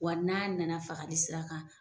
Wa n'a nana fagali sira kan.